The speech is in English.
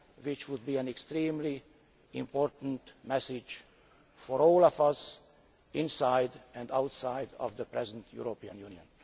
This would be an extremely important message for all of us, inside and outside the present European Union.